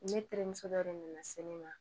Ne terimuso dɔ de nana se ne ma